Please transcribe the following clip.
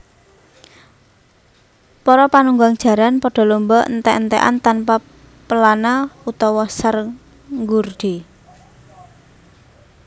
Para panunggang jaran pada lomba entèk entèkan tanpa pelana utawa sanggurdi